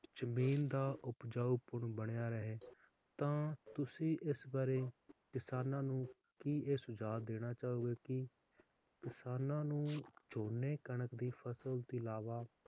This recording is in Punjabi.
ਜਮੀਨ ਦਾ ਉਪਜਾਊਪਣ ਬਣਿਆ ਰਹੇ ਤਾ ਤੁਸੀਂ ਇਸ ਬਾਰੇ ਕਿਸਾਨਾਂ ਨੂੰ ਕੀ ਇਹ ਸੁਝਾਵ ਦੇਣਾ ਚਾਹੋਗੇ ਕਿ ਕਿਸਾਨਾਂ ਨੂੰ ਝੋਨੇ ਕਣਕ ਦੀ ਫਸਲ ਦੇ ਅਲਾਵਾ